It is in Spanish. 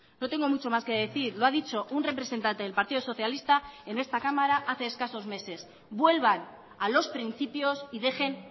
no tengo mucho más que decir lo ha dicho un representante del partido socialista en esta cámara hace escasos meses vuelvan a los principios y dejen